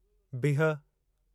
बिहु